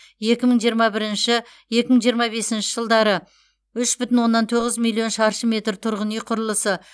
екі мың жиырма бірінші екі мың жиырма бесінші жылдары үш бүтін оннан тоғыз миллион шаршы метр тұрғын үй құрылысы